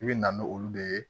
I bɛ na n'olu de ye